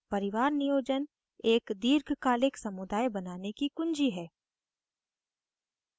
परिवार नियोजन एक दीर्घकालिक समुदाय बनाने की कुँजी है